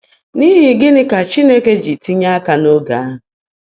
N’ihi gịnị ka Chineke ji tinye aka n’oge ahụ?